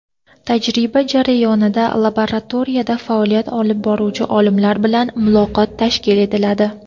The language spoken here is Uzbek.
Tajriba jarayonida laboratoriyada faoliyat olib boruvchi olimlar bilan muloqot tashkil etiladi.